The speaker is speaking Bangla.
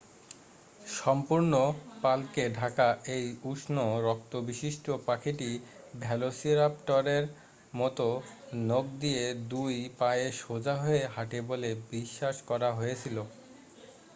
সম্পূর্ণ পালকে ঢাকা এই উষ্ণ রক্তবিশিষ্ট পাখিটি ভেলোসিরাপটরের মতো নখ দিয়ে দুই পায়ে সোজা হয়ে হাঁটে বলে বিশ্বাস করা হয়েছিল